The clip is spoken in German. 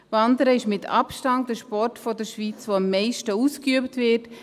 Wandern ist in der Schweiz mit Abstand der Sport, der am meisten ausgeübt wird.